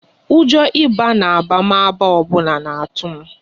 Ụjọ ịba na abamaba ọbụla n'atu m